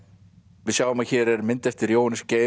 við sjáum að hér er mynd eftir Jóhannes Geir